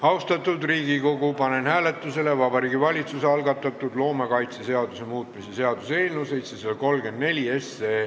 Austatud Riigikogu, panen hääletusele Vabariigi Valitsuse algatatud loomakaitseseaduse muutmise seaduse eelnõu 734.